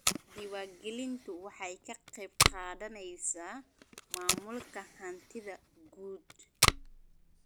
Diiwaangelintu waxay ka qayb qaadanaysaa maamulka hantida guud.